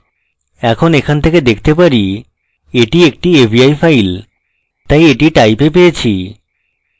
এখন এখান থেকে দেখতে পারি at একটি avi file তাই at type we পেয়েছি